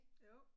Jo